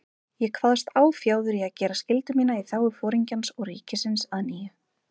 Ég kvaðst áfjáður í að gera skyldu mína í þágu Foringjans og ríkisins að nýju.